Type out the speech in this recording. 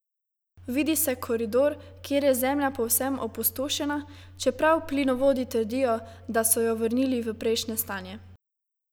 Vidi se koridor, kjer je zemlja povsem opustošena, čeprav plinovodi trdijo, da so jo vrnili v prejšnje stanje.